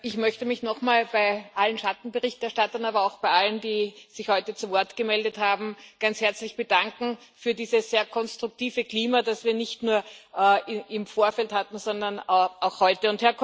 Herr Präsident! Ich möchte mich nochmal bei allen Schattenberichterstattern, aber auch bei allen, die sich heute zu Wort gemeldet haben, ganz herzlich bedanken für dieses sehr konstruktive Klima, das wir nicht nur im Vorfeld hatten, sondern auch heute.